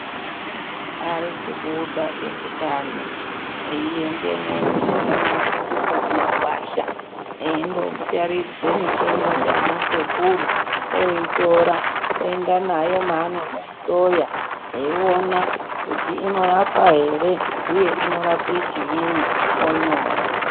Ari kubuda eutano, eiendemwo mumashango mwedumwo mumakwasha, indootaridzwe mitombo ndianasekuru, oitora, oenda nayo maanondoihloya, eiona kuti inorapa ere, uye inorape chiini, oitora oinyora.